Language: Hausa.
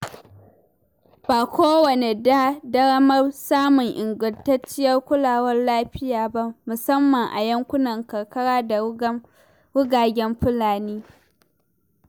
Ba kowa ke da damar samun ingantacciyar kulawar lafiya ba, musamman a yankunan karkara da rugagen fulani.